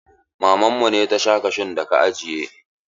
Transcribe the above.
Maman mu ce ta sha kashun da ka ajiye.